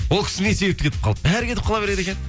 ол кісі не себепті кетіп қалды бәрі кетіп қала береді екен